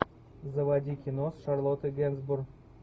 заводи кино с шарлоттой генсбур